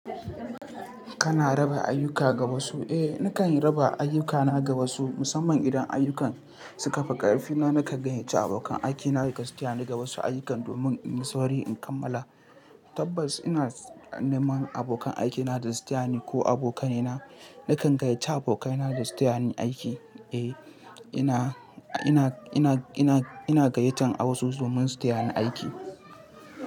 Kana raba ayuka ga wasu? Eh, nakan raba ayukana ga wasu musamman idan ayukan suka fi ƙarfi na. Nakan gayyaci abokan aikina gasu tayani ga wasu ayyukan domin inyi sauri in kammala. Tabbas ina neman abokan aikina da su taya ni ko abokanaina. Nakan gayyaci abokaina da su taya ni aiki. Eh, ina, ina, ina, ina, ina gayyatar wasu domin su taya ni aiki.